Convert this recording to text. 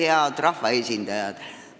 Head rahvaesindajad!